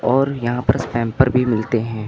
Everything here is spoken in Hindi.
और यहां पर स्पेमपर भी मिलते हैं।